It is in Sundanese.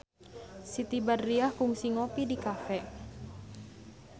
Siti Badriah kungsi ngopi di cafe